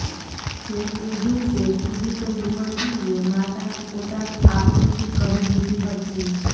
જે તે દિવસે પીડિત યુવતીએ માતાને પોતાની આપવીતી કહી દીધી હતી